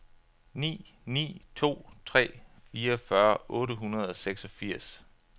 ni ni to tre fireogfyrre otte hundrede og seksogfirs